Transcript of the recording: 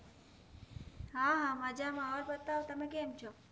હા હા માજા માં ઓર બતાઓ તમે કેમ છો?